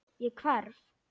Ég hverf.